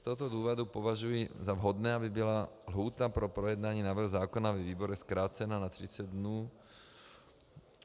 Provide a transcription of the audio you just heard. Z tohoto důvodu považuji za vhodné, aby byla lhůta pro projednání návrhu zákona ve výborech zkrácena na 30 dnů.